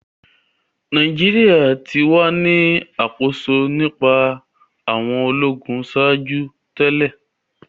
Nigeria ti wa ni akoso nipasẹ awọn ologun ṣaaju ki o to